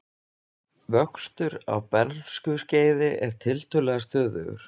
Vöxtur á bernskuskeiði er tiltölulega stöðugur.